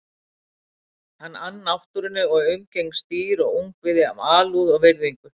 Hann ann náttúrunni og umgengst dýr og ungviði af alúð og virðingu.